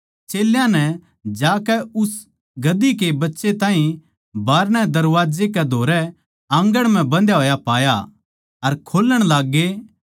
चेल्यां नै जाकै उस गधी के बच्चे ताहीं बाहरणै दरबाजे कै धोरै आँगण म्ह बंधा होया पाया अर खोल्लण लाग्गे